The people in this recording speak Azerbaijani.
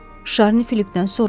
Şarni Filipdən soruşdu.